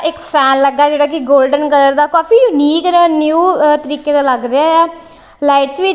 ਇੱਕ ਫੈਨ ਲੱਗਾ ਜਿਹੜਾ ਕਿ ਗੋਲਡਨ ਕਲਰ ਦਾ ਕਾਫੀ ਯੂਨਿਕ ਤੇ ਜਿਹੜਾ ਨਿਊ ਤਰੀਕੇ ਦਾ ਲੱਗ ਰਿਹਾ ਆ ਲਾਈਟ ਵੀ--